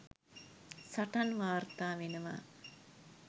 සටන් වාර්තා වෙනවා.